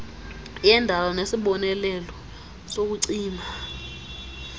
yendala nesibonelelo sokucima